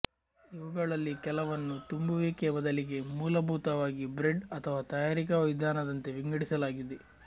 ಇವುಗಳಲ್ಲಿ ಕೆಲವನ್ನು ತುಂಬುವಿಕೆಯ ಬದಲಿಗೆ ಮೂಲಭೂತವಾಗಿ ಬ್ರೆಡ್ ಅಥವಾ ತಯಾರಿಕಾ ವಿಧಾನದಂತೆ ವಿಂಗಡಿಸಲಾಗಿದೆ